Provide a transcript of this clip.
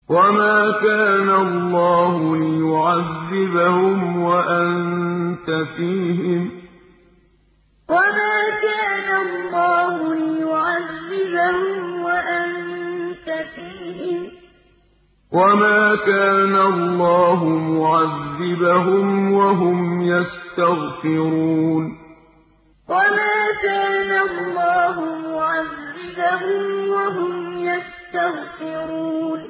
وَمَا كَانَ اللَّهُ لِيُعَذِّبَهُمْ وَأَنتَ فِيهِمْ ۚ وَمَا كَانَ اللَّهُ مُعَذِّبَهُمْ وَهُمْ يَسْتَغْفِرُونَ وَمَا كَانَ اللَّهُ لِيُعَذِّبَهُمْ وَأَنتَ فِيهِمْ ۚ وَمَا كَانَ اللَّهُ مُعَذِّبَهُمْ وَهُمْ يَسْتَغْفِرُونَ